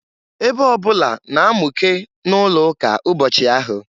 Ebe ọbụna na-amụke na-ụlọụka ụbọchị ahụ.